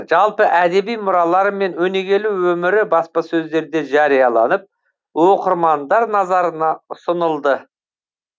жалпы әдеби мұралары мен өнегелі өмірі баспасөздерде жарияланып оқырмандар назарына ұсынылды